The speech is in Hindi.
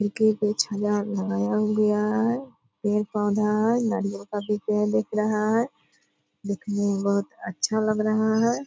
इनके बीच हजार लगाया गया है। पेड़-पौधा है नारियल का भी पेड़ दिख रहा है। दिखने में बहुत अच्छा लग रहा है।